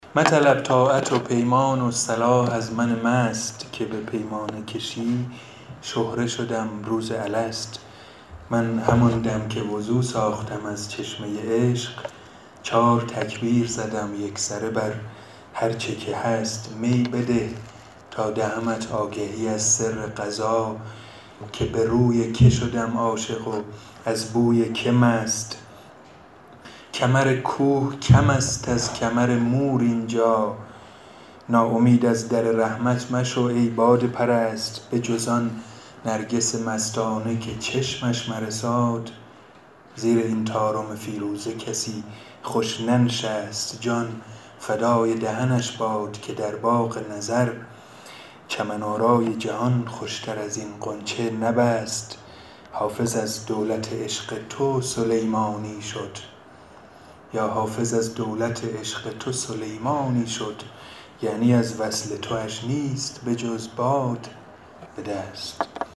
مطلب طاعت و پیمان و صلاح از من مست که به پیمانه کشی شهره شدم روز الست من همان دم که وضو ساختم از چشمه عشق چار تکبیر زدم یکسره بر هرچه که هست می بده تا دهمت آگهی از سر قضا که به روی که شدم عاشق و از بوی که مست کمر کوه کم است از کمر مور اینجا ناامید از در رحمت مشو ای باده پرست بجز آن نرگس مستانه که چشمش مرساد زیر این طارم فیروزه کسی خوش ننشست جان فدای دهنش باد که در باغ نظر چمن آرای جهان خوشتر از این غنچه نبست حافظ از دولت عشق تو سلیمانی شد یعنی از وصل تواش نیست بجز باد به دست